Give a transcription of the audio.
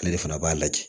Ale de fana b'a lajɛ